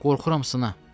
Qorxuram sına.